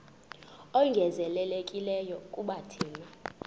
ongezelelekileyo kuba thina